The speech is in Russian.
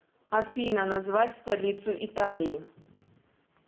афина назвать столицу италии